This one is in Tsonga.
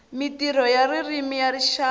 mintirho ya ririmi ya rixaka